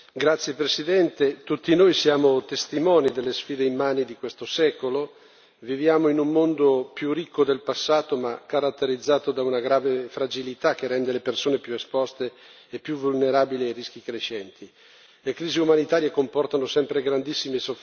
Signor Presidente, onorevoli colleghi, tutti noi siamo testimoni delle sfide immani di questo secolo. Viviamo in un mondo più ricco del passato, ma caratterizzato da una grave fragilità che rende le persone più esposte e più vulnerabili ai rischi crescenti.